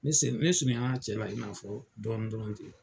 Ne surunyala cɛ la i n'a fɔ dɔɔni dɔrɔn ten .